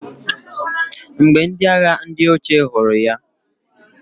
Mgbe ndi agha ndi oche huru ya..